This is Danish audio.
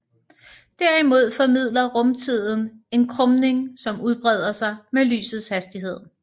Derimod formidler rumtiden en krumning som udbreder sig med lysets hastighed